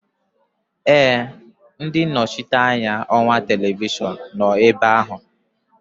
Ee, ndị nnọchiteanya ọwa televishọn nọ ebe ahụ